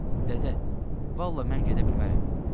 Dədə, vallah mən gedə bilmərəm.